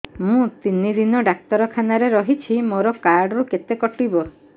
ମୁଁ ତିନି ଦିନ ଡାକ୍ତର ଖାନାରେ ରହିଛି ମୋର କାର୍ଡ ରୁ କେତେ କଟିବ